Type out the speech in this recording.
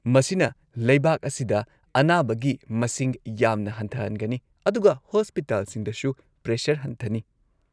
ꯃꯁꯤꯅ ꯂꯩꯕꯥꯛ ꯑꯁꯤꯗ ꯑꯅꯥꯕꯒꯤ ꯃꯁꯤꯡ ꯌꯥꯝꯅ ꯍꯟꯊꯍꯟꯒꯅꯤ ꯑꯗꯨꯒ ꯍꯣꯁꯄꯤꯇꯥꯜꯁꯤꯡꯗꯁꯨ ꯄ꯭ꯔꯦꯁꯔ ꯍꯟꯊꯅꯤ꯫